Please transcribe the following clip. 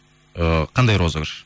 ыыы қандай розыгрыш